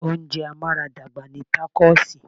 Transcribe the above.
Oúnjẹ amaradagba ni takosì.